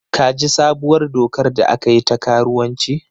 Ka ji sabuwar dokar da aka yi ta karuwanci?